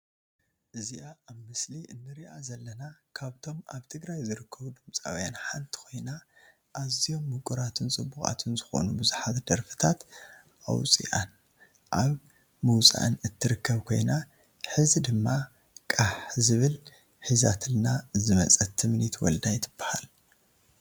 እዝይኣ ኣብ ምስሊ እንርእያ ዘለና ካብቶም ኣብ ትግራይ ዝርከቡ ድምፃውያን ሓንቲ ኮይና ኣዝዮም ምቁራትን ፅቡቃትን ዝኮኑ ብዙሓት ደርፍታት ኣውፅይኣን ኣብ ምውፃኣን እትርከብ ኮይና ሒዚ ድማ ቃሕ ዝብል ሒዛትልና ዝመፀት ትምኒት ወልዳይ ትብሃል።